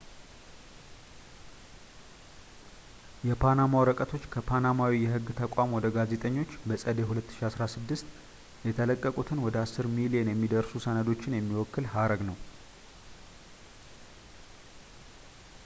"የፓናማ ወረቀቶች ከፓናማዊ የህግ ተቋም ወደ ጋዜጠኞች በጸደይ 2016 የተለቀቁትን ወደ አስር ሚሊዮን የሚደርሱ ሰነዶችን የሚወክል ሀረግ ነው።